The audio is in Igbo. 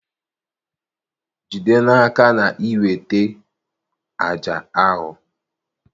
Jide n'aka na ị weta àjà ahụ